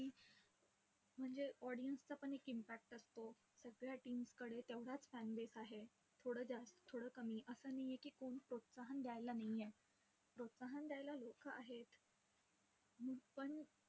म्हणजे audience चा पण एक impact असतो. सगळ्या teams कडे तेवढाचं fan base आहे. थोडं जास्त थोडं कमी, असा नाहीये की कोणी प्रोत्साहन द्यायला नाहीये. प्रोत्साहन द्यायला लोक आहेत पण